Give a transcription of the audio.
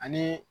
Ani